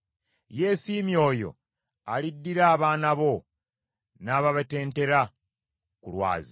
Yeesiimye oyo aliddira abaana bo n’ababetentera ku lwazi.